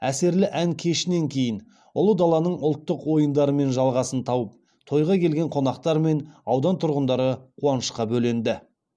әсерлі ән кешінен кейін ұлы даланың ұлттық ойындарымен жалғасын тауып тойға келген қонақтар мен аудан тұрғындары қуанышқа бөленді